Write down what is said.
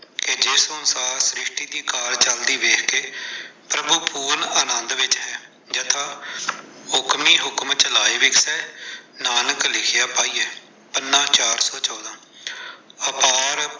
ਕਿ ਜਿਸ ਅਨੁਸਾਰ ਸ਼੍ਰਿਸ਼ਟੀ ਦੀ ਕਾਰ ਚਲਦੇ ਵੇਖਕੇ, ਪ੍ਰਭੂ ਮੂਲ ਆਨੰਦ ਵਿੱਚ ਹੈ, ਯਥਾ ਹੁਕਮੀ ਹੁਕਮ ਚਲਾਏ ਵੇਖੈ, ਨਾਨਕ ਲਿਖਿਆ ਪਾਈਐ, ਪੰਨਾ-ਚਾਰ ਸੌ ਚੋਦਾਂ।